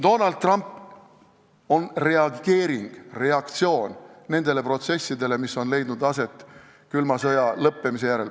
Donald Trump on reageering, reaktsioon nendele protsessidele, mis on leidnud aset külma sõja lõppemise järel.